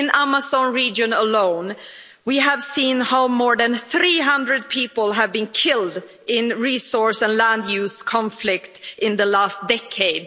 In the Amazon region alone, we have seen how more than 300 people have been killed in resource and land use conflicts in the last decade.